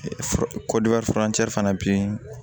fana bɛ yen